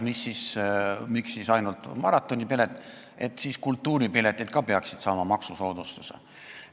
Miks ainult maratonipilet, siis peaksid ka ju kultuuriürituste piletid maksusoodustuse saama?